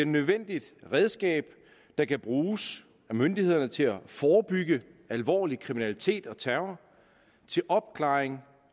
nødvendigt redskab der kan bruges af myndighederne til at forebygge alvorlig kriminalitet og terror og til opklaring